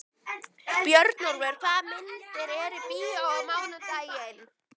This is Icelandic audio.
Björnólfur, hvaða myndir eru í bíó á mánudaginn?